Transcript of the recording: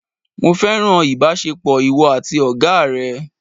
Mo fẹ́ràn ìbásepọ̀ ìwọ àti Ọ̀gá rẹ̀